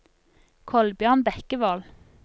Kolbjørn Bekkevold